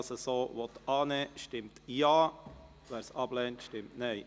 Wer dies so annehmen will, stimmt ja, wer es ablehnt, stimmt Nein.